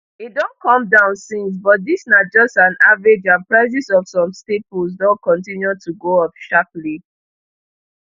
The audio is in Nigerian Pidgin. e don come down since but dis na just an average and prices of some staples don continue to go up sharply